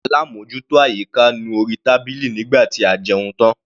Alábòjútó àyíká nu orí tábìlì nígbà tí a jẹun tán.